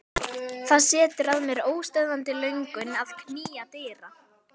Það setur að mér óstöðvandi löngun að knýja dyra.